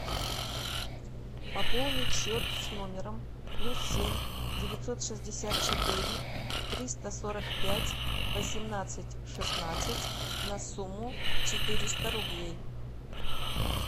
пополнить счет с номером плюс семь девятьсот шестьдесят четыре триста сорок пять восемнадцать шестнадцать на сумму четыреста рублей